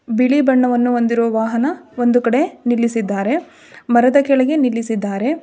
ಬಿಳಿ ಬಣ್ಣವನ್ನು ಹೊಂದಿರುವ ವಾಹನ ಒಂದು ಕಡೆ ನಿಲ್ಲಿಸಿದ್ದಾರೆ ಮರದ ಕೆಳಗೆ ನಿಲ್ಲಿಸಿದ್ದಾರೆ.